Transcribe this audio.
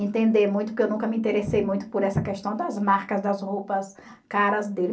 Entender muito, porque eu nunca me interessei muito por essa questão das marcas, das roupas caras dele.